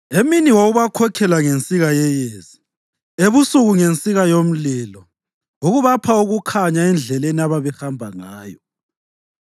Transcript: Emini wawubakhokhela ngensika yeyezi, ebusuku ngensika yomlilo ukubapha ukukhanya endleleni ababehamba ngayo.